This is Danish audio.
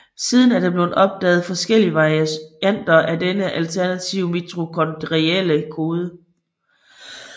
Siden er der blevet opdaget forskellige varianter af denne alternative mitokondrielle kode